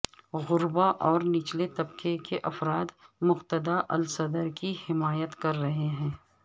غرباء اور نچلے طبقے کے افراد مقتدہ الصدر کی حمایت کر رہے ہیں